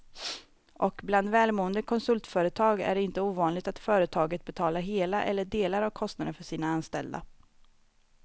Och bland välmående konsultföretag är det inte ovanligt att företaget betalar hela eller delar av kostnaden för sina anställda.